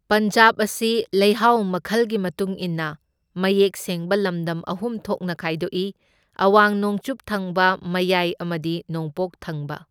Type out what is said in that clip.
ꯄꯟꯖꯥꯕ ꯑꯁꯤ ꯂꯩꯍꯥꯎ ꯃꯥꯈꯜꯒꯤ ꯃꯇꯨꯡ ꯏꯟꯅ ꯃꯌꯦꯛ ꯁꯦꯡꯕ ꯂꯝꯗꯝ ꯑꯍꯨꯝ ꯊꯣꯛꯅ ꯈꯥꯢꯗꯣꯛꯏ, ꯑꯋꯥꯡ ꯅꯣꯡꯆꯨꯞ ꯊꯪꯕ, ꯃꯌꯥꯢ ꯑꯃꯗꯤ ꯅꯣꯡꯄꯣꯛ ꯊꯪꯕ꯫